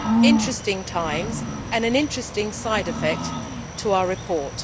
Interesting times, and an interesting side effect to our report.